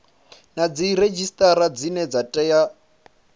na dziredzhisitara dzine dza tea